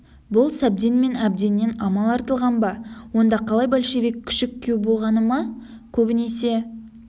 бұл сәбден мен әбденнен амал артылған ба онда қалай большевик күшік күйеу болғаны ма көбінесе